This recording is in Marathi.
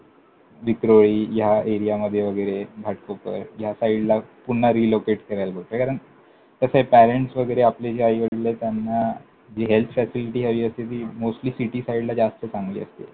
विक्रोळी ह्या एरियामध्ये वगैरे घाटकोपर ह्या साईडला पुन्हा relocate करायला . कारण कसंय parents वगैरे जे आपले आई वडीलेत, त्यांना जी health facility हवी असते ती mostly city साईडला जास्त चांगली असते.